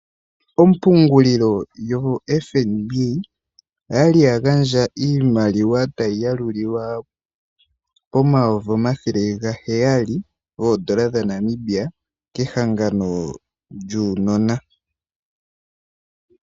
Ompungulilo yoFNB oya li ya gandja iimaliwa tayi yalulilwa pomayovi omathele gaheyali goondola dhaNamibia kehangano lyuunona.